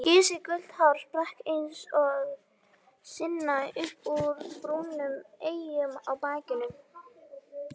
Gisið gult hár spratt eins og sina upp úr brúnum eyjum á bakinu.